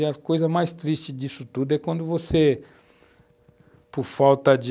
E a coisa mais triste disso tudo é quando você, por falta de...